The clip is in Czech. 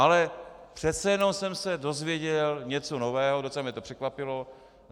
Ale přece jen jsem se dozvěděl něco nového, docela mě to překvapilo.